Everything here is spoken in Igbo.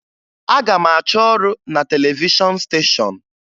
Aga m achọ ọrụ na televishọn steshọn